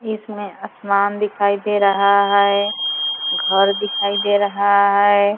इसमें आसमान दिखाई दे रहा है घर दिखाई दे रहा है।